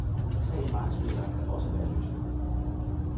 Tre markspillere kan også være løsningen.